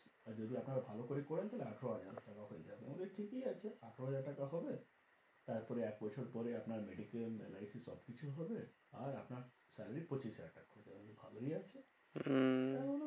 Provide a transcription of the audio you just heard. আর যদি আপনারা ভালো করে করেন তাহলে আঠেরো হাজার টাকা হয়ে যাবে। আমাদের ঠিকই আছে আঠেরো হাজার টাকা হবে তার পরে এক বছর পরে আপনার mediclaim LIC সব কিছু হবে। আর আপনার salary পঁচিশ হাজার টাকা ভালোই আছে। উম